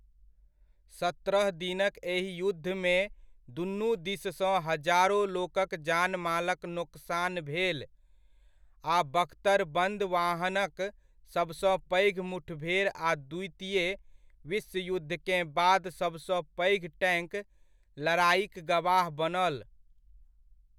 सत्रह दिनक एहि युद्धमे दुनू दिससँ हजारो लोकक जानमालक नोकसान भेल आ बख्तरबंद वाहनक सबसँ पैघ मुठभेड़ आ द्वितीय विश्वयुद्धकेँ बाद सबसँ पैघ टैंक लड़ाइक गवाह बनल।